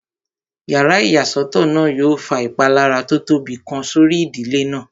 Yàrá ìyàsọ́tọ̀ náà yóò fa ìpalára tó tóbi kan sórí ìdílé náà